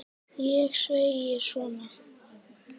Ég segi svona.